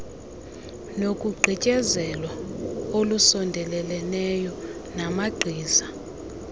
nokugqityezelwa olusondeleleneyo namagqiza